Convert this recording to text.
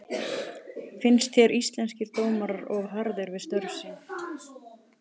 Finnst þér Íslenskir dómarar of harðir við störf sín?